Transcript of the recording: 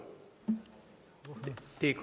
det er